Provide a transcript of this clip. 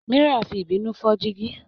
Mira fi ìbínú fọ́ jígí.